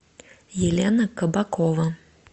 елена кабакова